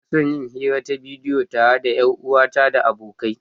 Ina son yin hira ta bidiyo tare da 'yar uwata da abokai.